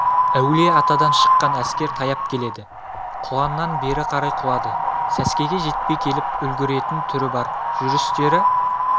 әулие-атадан шыққан әскер таяп келеді құланнан бері қарай құлады сәскеге жетпей келіп үлгіретін түрі бар жүрістері